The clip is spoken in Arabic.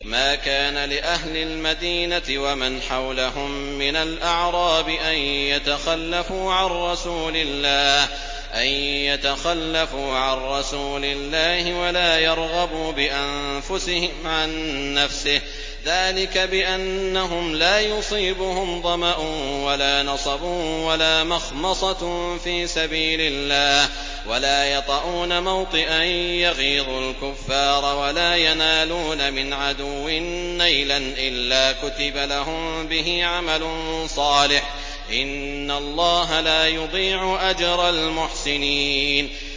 مَا كَانَ لِأَهْلِ الْمَدِينَةِ وَمَنْ حَوْلَهُم مِّنَ الْأَعْرَابِ أَن يَتَخَلَّفُوا عَن رَّسُولِ اللَّهِ وَلَا يَرْغَبُوا بِأَنفُسِهِمْ عَن نَّفْسِهِ ۚ ذَٰلِكَ بِأَنَّهُمْ لَا يُصِيبُهُمْ ظَمَأٌ وَلَا نَصَبٌ وَلَا مَخْمَصَةٌ فِي سَبِيلِ اللَّهِ وَلَا يَطَئُونَ مَوْطِئًا يَغِيظُ الْكُفَّارَ وَلَا يَنَالُونَ مِنْ عَدُوٍّ نَّيْلًا إِلَّا كُتِبَ لَهُم بِهِ عَمَلٌ صَالِحٌ ۚ إِنَّ اللَّهَ لَا يُضِيعُ أَجْرَ الْمُحْسِنِينَ